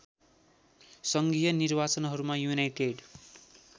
सङ्घीय निर्वाचनहरूमा युनाइटेड